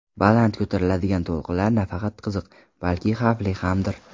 Baland ko‘tariladigan to‘lqinlar nafaqat qiziq, balki xavfli hamdir.